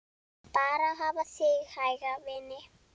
Bara hafa þig hæga, vina.